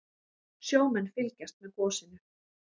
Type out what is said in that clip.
Sjómenn fylgjast með gosinu